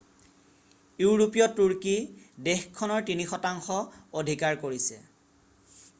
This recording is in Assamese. ইউৰোপীয় তুৰ্কী বালকান দ্বীপৰ পূৱৰ থ্ৰেছ অথবা ৰোমালিয়া দেশখনৰ 3% অধিকাৰ কৰিছে।